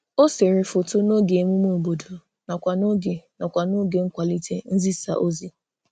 O sere foto n'oge emume obodo nakwa n'oge nakwa n'oge nkwalite nzisaozi